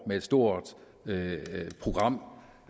med et stort program